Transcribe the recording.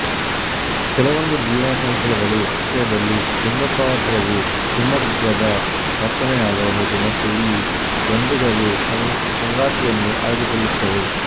ಕೆಲವೊಂದು ಜೀವಸಂಕುಲಗಳ ವಿಷಯದಲ್ಲಿ ಲಿಂಗದಪಾತ್ರವು ಹಿಮ್ಮೊಗದ ವರ್ತನೆಯಾಗ ಬಹುದು ಮತ್ತು ಇಲ್ಲಿ ಗಂಡುಗಳು ಸಂಗಾತಿಯನ್ನು ಆಯ್ದುಕೊಳ್ಳುತ್ತವೆ